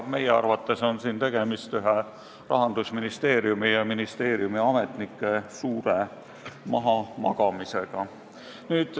Meie arvates on siin tegemist Rahandusministeeriumi ametnike suure mahamagamisega.